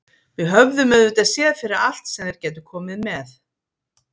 Við höfðum auðvitað séð fyrir allt sem þeir gætu komið með.